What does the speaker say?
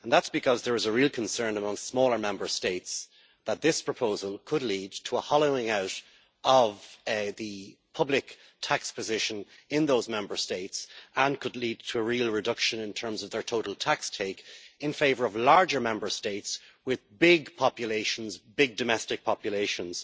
That is because there is a real concern among smaller Member States that this proposal could lead to a hollowing out of the public tax position in those Member States, and could lead to a real reduction in terms of their total tax take in favour of larger Member States with big domestic populations.